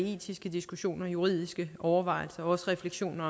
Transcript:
etiske diskussioner juridiske overvejelser og også refleksioner